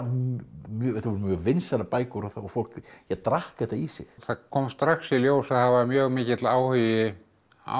mjög vinsælar bækur og fólk drakk þetta í sig það kom strax í ljós að það var mjög mikill áhugi á